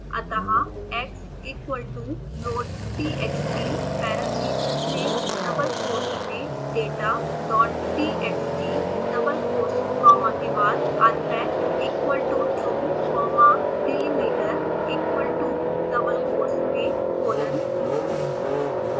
अतः xequal toloadtxt parentheses में double quotes मेंdatadottxtdouble quotes comma के बादunpackequal totruecommadelimiterequal to double quotes मेंcolon